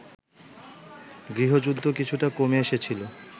গৃহযুদ্ধ কিছুটা কমে এসেছিল